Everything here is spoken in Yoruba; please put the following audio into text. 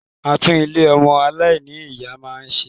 A tún Ilé ọmọ aláìní-Ìyá náà ṣe